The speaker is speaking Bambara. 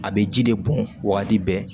A bɛ ji de bɔn wagati bɛɛ